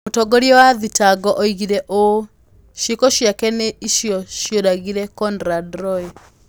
Mũtongoria wa thitango oigire ũũ: "Ciĩko ciake nĩ cio cioragire Conrad Roy".